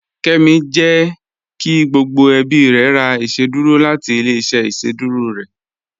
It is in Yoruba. Kẹ́mí jẹ́ kí gbogbo ẹ̀bí rẹ̀ rà ìṣẹ̀dúrò láti ilẹ̀-ìṣẹ̀ ìṣẹ̀dúrò rẹ